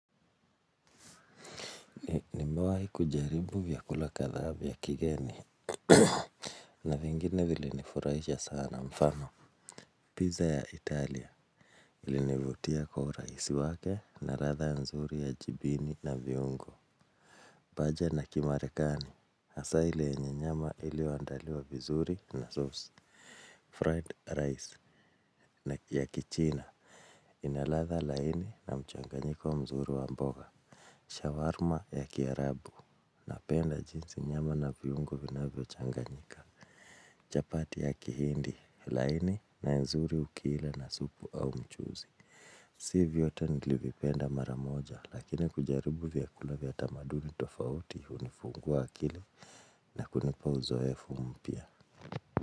Ni mewahi kujaribu vyakula kadhaa vya ya kigeni. Na vingine vili nifurahisha sana mfano Pizza ya Italia. Ilinivutia kwa urahisi wake na latha nzuri ya jibini na viungo Baja na kimarekani hasaa ile yenye nyanyama iliyo andaliwa vizuri na sauce Fried rice na ya kichina. Inalatha laini na mchanganyiko mzuru wa mboga Shawarma ya kiarabu. Napenda jinsi nyama na vyungo vinavyo changanyika Chapati ya kihindi, laini na nzuri ukiila na supu au mchuzi. Sivyote nilivipenda maramoja. Lakini kujaribu vyakula vya tamaduni tofauti unifungua akili. Na kunipa uzoefu mpya.